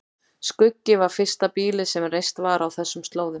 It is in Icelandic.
Skuggi var fyrsta býlið sem reist var á þessum slóðum.